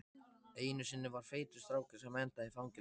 Einu sinni var feitur strákur sem endaði í fangelsi.